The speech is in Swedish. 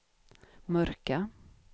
mörka